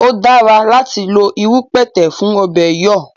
O dára láti lo irú pẹ̀tẹ̀ fún ọ̀bẹ̀ẹ̀ yọ̀